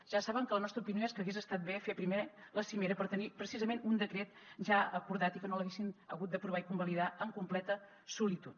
ja saben que la nostra opinió és que hagués estat bé fer primer la cimera per tenir precisament un decret ja acordat i que no l’haguessin hagut d’aprovar i convalidar en completa solitud